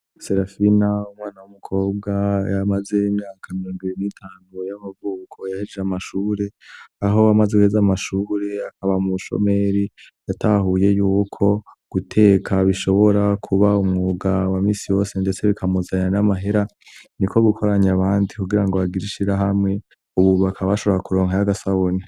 Serafina umwana w'umukobwa yamaze imyaka mirongo ibiri n'itanu y'amavuko yahejije amashure; aho uwo amaze weza amashure akaba umushomeri yatahuye y'uko guteka bishobora kuba umwuga wa minsi wose, ndetse bikamuzanira n'amahera. Niko gukoranya abandi kugira ngo bagire ishirahamwe; Ubu bakaba bashobora kuronka y'agasabuni.